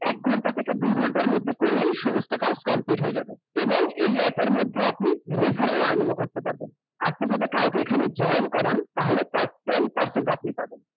এক ঘণ্টা থেকে দুই ঘণ্টা মধ্যে করলেই সমস্ত কাজ complete হয়ে যাবে । এবং এই app এর মধ্যে আপনি, referral earning ও করতে পারবেন । আপনি যদি কাউকে এখানে join করান, তাহলে তার ten percent আপনি পাবেন ।